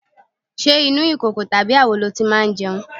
Ṣé inú ìkòkò tàbí àwo lo ti máa jẹun?